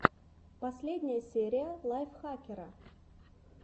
последняя серия лайфхакера